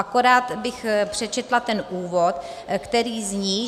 Akorát bych přečetla ten úvod, který zní: